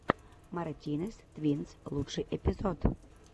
мартинез твинс лучший эпизод